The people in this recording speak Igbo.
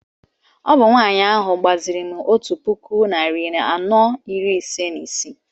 Ọ bụ nwanyị ahụ gbaziri m otu puku narị anọ iri ise na isii